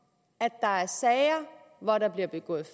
at der er sager hvor der bliver begået